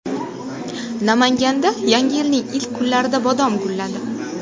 Namanganda Yangi yilning ilk kunlarida bodom gulladi.